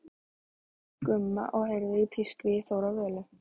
Gumma og heyrir pískrið í Þóru og Völu.